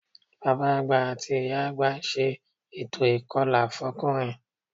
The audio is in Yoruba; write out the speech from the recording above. Bàbá àgbà àti ìyá àgbà ń ṣe ètò ìkọlà fọ́kùnrin